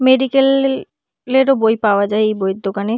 Medical লেল লেরও বই পাওয়া যায় এই বইয়ের দোকানে।